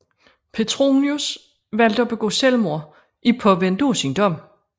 Petronius valgte at begå selvmord i påvente af sin dom